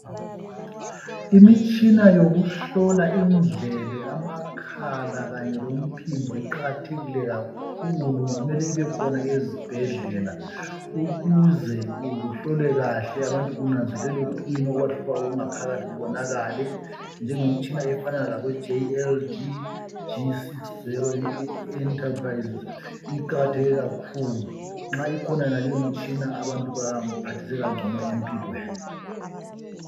Imitshina yokuhlola indlebe, amakhala kanye lomphimbo iqakathekile kakhulu mele ibekhona ezibhedlela ukuze kuhlolwe kahle abantu kunzelelwe ukuthi kuyini okubahluphayo okungaphakathi kubonakale. Minengi imitshina efanana labo JLDG60 Enterprises , iqakatheke kakhulu nxa ikhona yonaleyi imitshina abantu baphathiseka ngcono empilweni